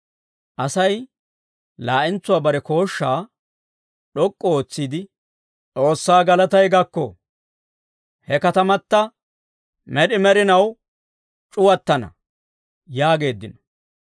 Asay laa'entsuwaa bare kooshshaa d'ok'k'u ootsiide, «S'oossaa galatay gakko. He katamata med'i med'inaw c'uwattana» yaageeddino.